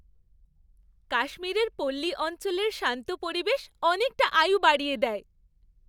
কাশ্মীরের পল্লী অঞ্চলের শান্ত পরিবেশ অনেকটা আয়ু বাড়িয়ে দেয়।